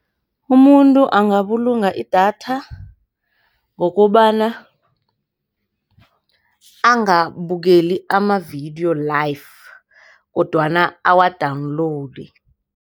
Umuntu angabulunga idatha ngokobana angabukeli amavidiyo live kodwana awa-download.